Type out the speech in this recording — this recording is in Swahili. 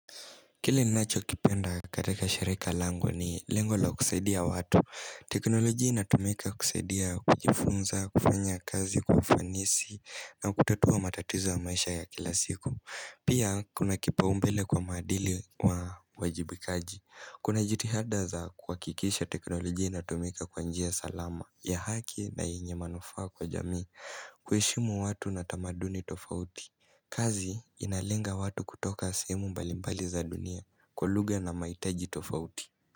Kili nacho kipenda katika sherika langu ni lengo la kusaidia watu. Teknoloji inatumika kusadia kujifunza, kufanya kazi kwa ufanisi na kutatua matatizo wa maisha ya kila siku. Pia kuna kipa umbele kwa madili wa wajibikaji. Kuna jitihada za kuhakikisha teknolojia inatumika kwa njia salama ya haki na yenye manufaa kwa jamii. Kuheshimu watu na tamaduni tofauti. Kazi inalenga watu kutoka sehemu mbalimbali za dunia kwa lugha na mahitaji tofauti.